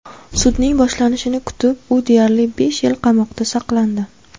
Sudning boshlanishini kutib, u deyarli besh yil qamoqda saqlandi.